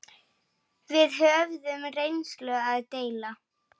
Við höfðum reynslu að deila.